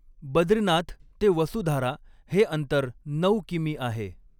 बद्रीनाथ ते वसुधारा हे अंतर नऊ कि.मी. आहे.